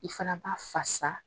I fana b'a fasa